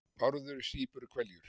Bárður sýpur hveljur.